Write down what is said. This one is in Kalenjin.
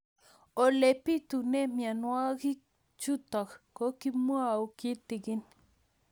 Ole pitune mionwek chutok ko kimwau kitig'ín